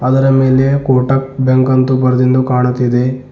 ಅದರ ಮೇಲೆ ಕೋಟಕ್ ಬ್ಯಾಂಕ್ ಅಂತ ಬರ್ದಿನ್ದು ಕಾಣುತ್ತಿದೆ.